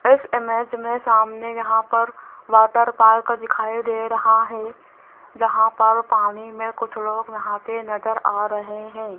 इस इमेज में सामने यहां पर वाटर पार्क दिखाई दे रहा है जहां पर पानी में कुछ लोग नहाते नजर आ रहे हैं।